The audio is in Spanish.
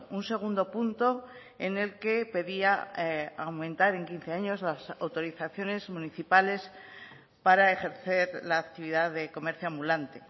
un segundo punto en el que pedía aumentar en quince años las autorizaciones municipales para ejercer la actividad de comercio ambulante